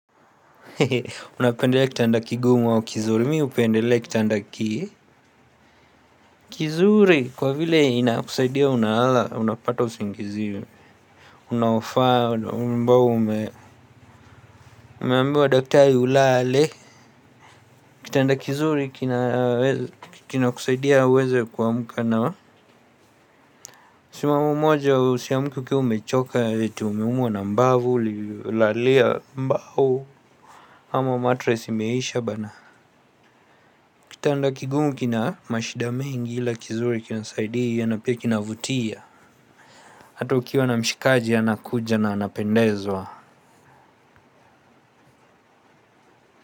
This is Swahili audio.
Hehe, unapendelea kitanda kigumu au kizuri? Mimi hupendele kitanda kii. Kizuri, kwa vile inakusaidia unahala, unapata usingizi unaofaa ambao umeambiwa daktari ulale. Kitanda kizuri kinaweze, kina kusaidia uweze kuamka na msimamo mmoja usiamuke ukiwa umechoka ati umeumua na mbavu, uli lalia mbao. Ama matress imeisha bana. Kitanda kigumu kina mashida mengi ila kizuri kinasaidia na pia kinavutia. Hata ukiwa na mshikaji anakuja na anapendezwa.